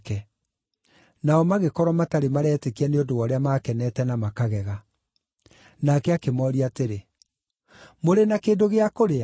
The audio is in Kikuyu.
Nao magĩkorwo matarĩ maretĩkia nĩ ũndũ wa ũrĩa makenete na makagega. Nake akĩmooria atĩrĩ, “Mũrĩ na kĩndũ gĩa kũrĩa?”